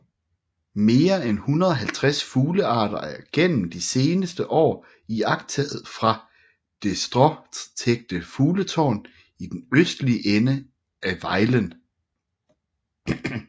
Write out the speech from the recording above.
Mere end 150 fuglearter er gennem de seneste år iagttaget fra det stråtækte fugletårn i den østlige ende af Vejlen